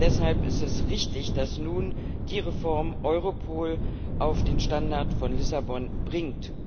Deshalb ist es richtig, dass nun die Reform Europol auf den Standard von Lissabon bringt.